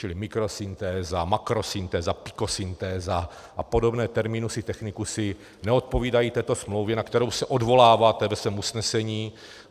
Čili mikrosyntéza, makrosyntéza, pikosyntéza a podobné terminusy technikusy neodpovídají této smlouvě, na kterou se odvoláváte ve svém usnesení.